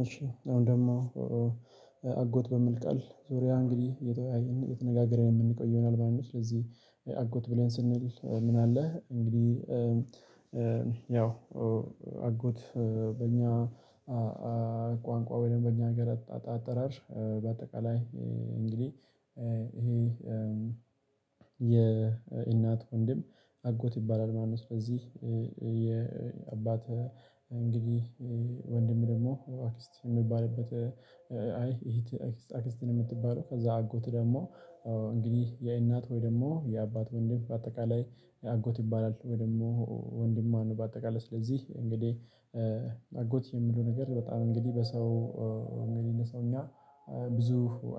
እሺ አሁን ደግሞ አጎት በሚል ቃል ዙሪያ እንግዲህ የተወያየ የተነጋገረ የምንቆይ ይሆናል ማለት ነው። ስለዚህ አጎት ብለን ስንል ምን አለህ? እንግዲህ ያው አጎት በእኛ ቃንቃ ወይም በእኛ ሀገር አጠራር በአጠቃላይ እንግዲህ ይሄ የእናት ወንድም አጎት ይባላል። ማነው ስለዚህ የአባት እንግዲህ ወንድም ደግሞ አክስት ሚባልበት አይ እህት አክስት ነው የምትባለው። ከዛ አጎት ደግሞ እንግዲህ የእናት ወይ ደግሞ የአባት ወንድም በአጠቃላይ አጎት ይባላል። ወይ ደግሞ ወንድማ በአጠቃላይ ስለዚህ እንግዲህ አጎት የሚለው ነገር በጣም እንግዲህ በሰው እንግዲህ ለሰውኛ ብዙ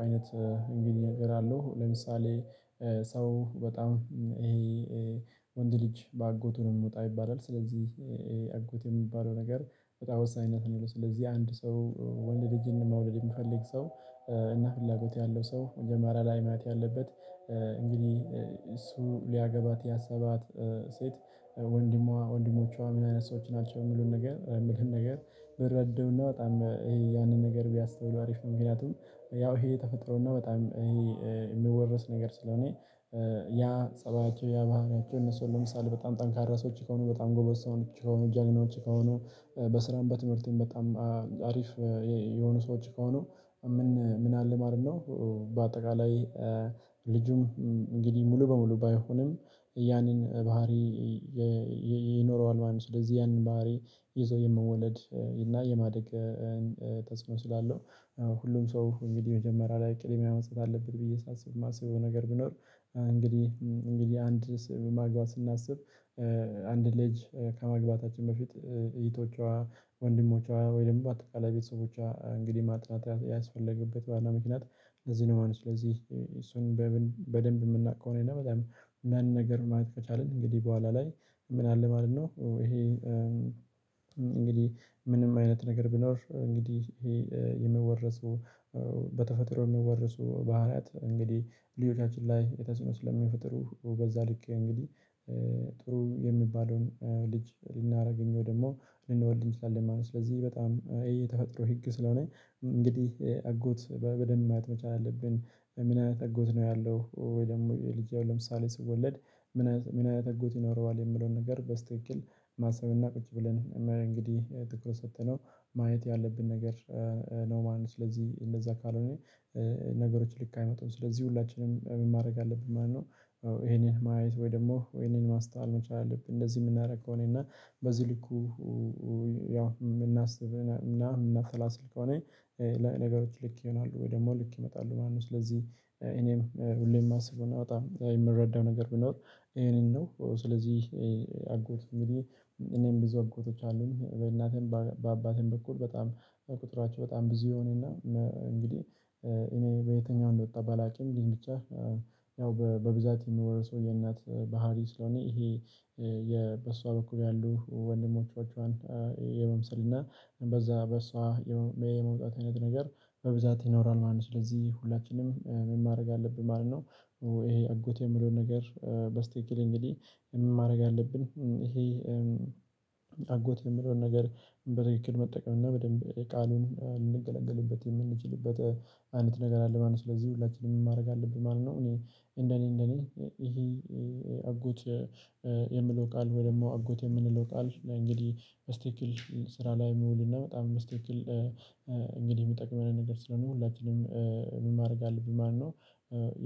አይነት እንግዲህ ነገር አለው። ለምሳሌ ሰው በጣም ይሄ ወንድ ልጅ በአጎቱንም የምወጣ ይባላል። ስለዚህ አጎት የሚባለው ነገር በጣም ወሳኝነት ነው። ስለዚህ አንድ ሰው ወንድ ልጅ መውለድ የሚፈልግ ሰው እና ፍላጎት ያለው ሰው መጀመሪያ ላይ ማየት ያለበት እንግዲህ እሱ ሊያገባት ያሰባት ሴት ወንድሟ ወንድሞቿ ምን አይነት ሰዎች ናቸው የምለውን ነገር የሚለውን ነገር ቢረዱና በጣም ይሄ ያንን ነገር ቢያስተውሉ አሪፍ ነው። ምክንያቱም ያው ይሄ ተፈጥሮ ነው በጣም ይሄ የሚወረስ ነገር ስለሆነ ያ ፀባያቸው ያ ባህሪያቸው እነሱን ለምሳሌ በጣም ጠንካራ ሰዎች ከሆኑ በጣም ጎበዝ ሰዎች ከሆኑ ጀግናዎች ከሆኑ በስራም በትምህርቴም በጣም አሪፍ የሆኑ ሰዎች ከሆኑ ምን ምን አለ ማለት ነው። በአጠቃላይ ልጁም እንግዲህ ሙሉ በሙሉ ባይሆንም ያንን ባህሪ ይኖረዋል ማለት ነው። ስለዚህ ያንን ባህሪ ይዞ የመወለድ እና የማደግ ተጽኖ ስላለው ሁሉም ሰው እንግዲህ የመጀመሪያ ላይ ቅልም ያመጣል አለብን። ብዬ ሳስብ የማስበው ነገር ቢኖር እንግዲህ እንግዲህ አንድ ማግባት ስናስብ አንድ ልጅ ከመግባታችን በፊት እህቶቿ ወንድሞቿ ወይንም በአጠቃላይ በተሰቦቿ እንግዲህ ማጥናት ያስፈለገበት ዋናው ምክንያት ለዚህ ነው ማለት ነው። ስለዚህ እሱን በደንብ የምናቅ ከሆኔና በጣም ያንን ነገር ማየት ከቻልን እንግዲህ በኋላ ላይ ምን አለ ማለት ነው። ይሄ እንግዲህ ምንም አይነት ነገር ቢኖር እንግዲህ ይሄ የሚወረሱ በተፈጥሮ የሚወረሱ ባህሪያት እንግዲ ልጆቻችን ላይ ተስእኖ ስለሚፈጥሩ በዛ ልክ እንግዲህ ጥሩ የሚባለውን ልጅ ልናደርገኝ ወይ ደግሞ እንወድልኝ ትችላለህ ማለት ነው። ስለዚህ በጣም ይሄ ተፈጥሮ ህግ ስለሆነ እንግዲህ አጎት በደንብ ማየት መቻል አለብን ምን አይነት አጎት ነው? ያለው ወይ ደግሞ ልጄው ለምሳሌ ስወለድ ምን አይነት አጎት ይኖረዋል የምለውን ነገር በስተካከል ማሰብና ቁጭ ብለን የማያውቅ እንግዲህ ትኩረት ሰጥተነው ማየት ያለብን ነገር ነው። ማን ነው? ስለዚህ እንደዛ ካልሆነ ነገሮች ልክ አይመጣም ስለዚህ ሁላችንም ማድረግ አለብን ማለት ነው። ይሄንን ማየት ወይ ደግሞ ይሄንን ማስተዋል መቻል አለብን እንደዚህ የምናደርገው እኔና በዚህ ልኩ ያው የምናስብ የምናሰላስል ከሆነ ነገሮች ልክ ይሆናሉ ወይ ደግሞ ልክ ይመጣሉ ማለት ነው። ስለዚህ እኔም ሁሌም የማስበውና በጣም የምረዳው ነገር ብንለው ይሄንን ነው። ስለዚህ አጎት እኔም ብዙ አጎቶች አሉኝ በእናቴም በአባቴም በኩል በጣም ቁጥራቸው በጣም ብዙ የሆነና እንግዲህ እኔ በየትኛው እንደወጣ ባላቂም ብዬ ብቻ ያው በብዛት የምወርሰው የእናት ባህሪ ስለሆነ ይሄ የበሷ በኩል ያሉ ወንድሞቻችን የመምሰል እና በዛ በሷ የመውጣት አይነት ነገር በብዛት ይኖራል ማለት ነው። ስለዚህ ሁላችንም ማድረግ አለብን ማለት ነው። ይሄ አጎቴ የምለውን ነገር በስተክል እንግዲህ ማድረግ ያለብን ይሄ አጎት የምለውን ነገር በትክክል መጠቀም እና በደንብ የቃሉን ልንገለግልበት የምንችልበት አይነት ነገር አለ ማለት ነው። ስለዚህ ሁላችንም ማድረግ አለብን ማለት ነው። እኔ እንደኔ እንደኔ ይሄ አጎት የምንለው ቃል ወይ ደግሞ አጎት የምንለው ቃል እንግዲህ መስተኪል ስራ ላይ መውልና በጣም መስተኪክል እንግዲህ የሚጠቅመን ነገር ስለሆነ ሁላችንም ማድረግ አለብኝ ማነው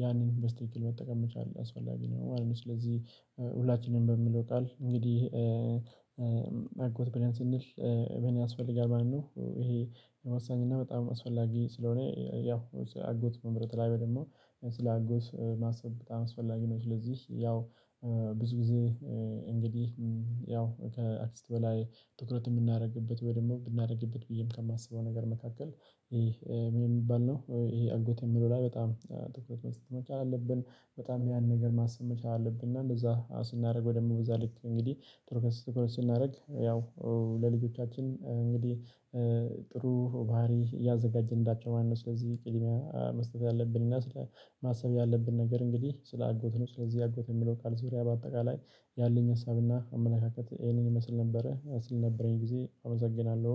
ያንን በስተክል መጠቀም መቻል አስፈላጊ ነው ማለት ነው። ስለዚህ ሁላችንም በሚለው ቃል እንግዲህ ብለን ስንል ምን ያስፈልጋል? ማነው ይሄ የመሳኝና በጣም አስፈላጊ ስለሆነ ያው አጎት መምረጥ ላይመን ደግሞ ስለ አጎት ማሰብ በጣም አስፈላጊ ነው። ለዚህ ያው ብዙ ጊዜ እንግዲህ ያው ከአክስት በላይ ትኩረት የምናደርግበት ወይ ደግሞ ብናደርግበት ብዬም ከማስበው ነገር መካከል ይሄ የሚባል ነው ይሄ አጎቴ የሚለው ላይ በጣም ትኩረት መስጠት መቻል አለብን። በጣም ያን ነገር ማሰብ መቻል አለብን። እና እንደዛ ስናደርግ ወደምበዛ ልክ እንግዲህ ትርክስ ስናደርግ ያው ለልጆቻችን እንግዲህ ጥሩ ባህሪ ያዘጋጀን እንዳቸው ማነው ስለዚህ ቅድሚያ መስጠት ያለብን እና ስለ ማሰብ ያለብን ነገር እንግዲህ ስለ አጎት ነው። ስለዚህ አጎት የሚለው ቃል ዙሪያ በአጠቃላይ ያለኝ ሀሳብና አመለካከት ይህንን ይመስል ነበረ ስለነበረኝ ጊዜ አመሰግናለሁ